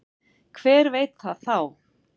Hver veit það þá?